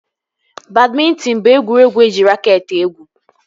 Badmịntịn bụ egwuregwu eji raket egwu